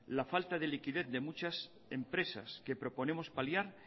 la falta de liquidez de muchas empresas que proponemos paliar